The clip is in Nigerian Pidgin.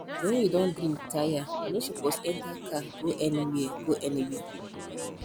when you don drink tire you no suppose enter car go anywhere go anywhere